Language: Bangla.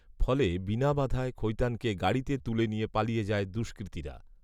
ফলে বিনা বাধায় খৈতানকে গাড়িতে তুলে নিয়ে পালিয়ে যায় দুষ্কৃতীরা